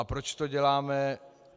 A proč to děláme?